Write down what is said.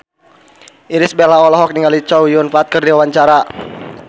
Irish Bella olohok ningali Chow Yun Fat keur diwawancara